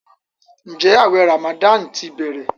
Njé awé ramadan tí bẹrẹ?